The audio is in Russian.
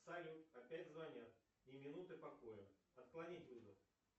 салют опять звонят ни минуты покоя отклонить вызов